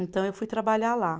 Então eu fui trabalhar lá.